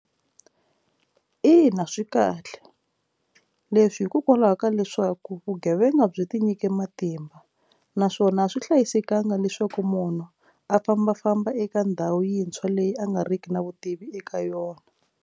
Ina swi kahle leswi hikokwalaho ka leswaku vugevenga byi tinyike matimba naswona a swi hlayisekanga leswaku munhu a fambafamba eka ndhawu yintshwa leyi a nga riki na vutivi eka yona.